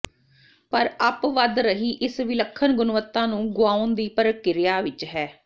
ਪਰ ਅੱਪ ਵਧ ਰਹੀ ਇਸ ਵਿਲੱਖਣ ਗੁਣਵੱਤਾ ਨੂੰ ਗੁਆਉਣ ਦੀ ਪ੍ਰਕਿਰਿਆ ਵਿੱਚ ਹੈ